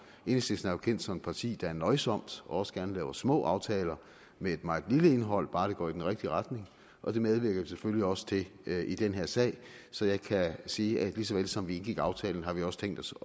enhedslisten er jo kendt som et parti der er nøjsomt og også gerne laver små aftaler med et meget lille indhold bare det går i den rigtige retning og det medvirker vi selvfølgelig også til i den her sag så jeg kan sige at ligesom ligesom vi indgik aftalen har vi også tænkt os